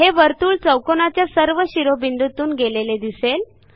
हे वर्तुळ चौकोनाच्या सर्व शिरोबिंदूतून गेलेले दिसेल